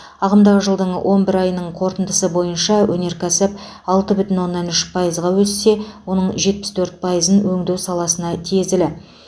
ағымдағы жылдың он бір айының қорытындысы бойынша өнеркәсіп алты бүтін оннан үш пайызға өссе оның жетпіс төрт пайызың өңдеу саласына тиесілі